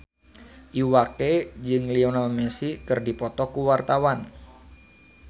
Iwa K jeung Lionel Messi keur dipoto ku wartawan